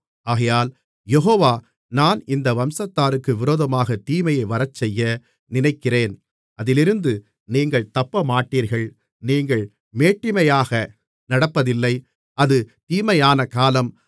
ஆகையால் யெகோவா நான் இந்த வம்சத்தாருக்கு விரோதமாகத் தீமையை வரச்செய்ய நினைக்கிறேன் அதிலிருந்து நீங்கள் தப்பமாட்டீர்கள் நீங்கள் மேட்டிமையாக நடப்பதில்லை அது தீமையான காலம்